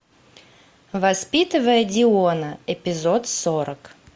воспитывая диона эпизод сорок